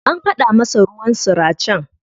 An haɗa masa ruwan suracen.